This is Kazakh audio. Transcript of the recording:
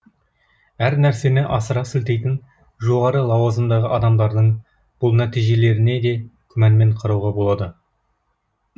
әр нәрсені асыра сілтейтін жоғары лауазымдағы адамдардың бұл нәтижелеріне де күмәнмен қарауға болады